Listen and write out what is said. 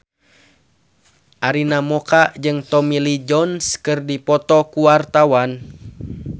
Arina Mocca jeung Tommy Lee Jones keur dipoto ku wartawan